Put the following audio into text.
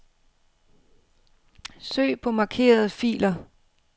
Søg på markerede filer.